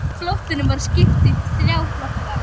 Flotanum var skipt í þrjá flokka.